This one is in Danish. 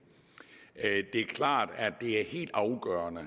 det er klart at det er helt afgørende